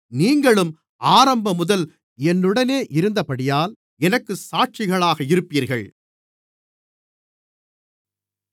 நீங்களும் ஆரம்பமுதல் என்னுடனே இருந்தபடியால் எனக்குச் சாட்சிகளாக இருப்பீர்கள்